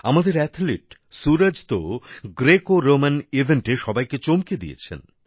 আমাদের অ্যাথলিট সুরজ তো গ্রেকোরোমান ইভেন্টে সবাইকে চমকে দিয়েছেন